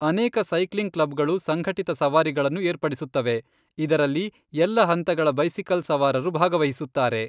ಅನೇಕ ಸೈಕ್ಲಿಂಗ್ ಕ್ಲಬ್ಗಳು ಸಂಘಟಿತ ಸವಾರಿಗಳನ್ನು ಏರ್ಪಡಿಸುತ್ತವೆ, ಇದರಲ್ಲಿ ಎಲ್ಲ ಹಂತಗಳ ಬೈಸಿಕಲ್ ಸವಾರರು ಭಾಗವಹಿಸುತ್ತಾರೆ.